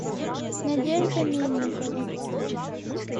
надежда мельникова